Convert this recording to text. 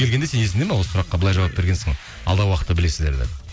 келгенде сенің есіңде ме осы сұраққа былай жауап бергенсің алдағы уақытта білесіздер деп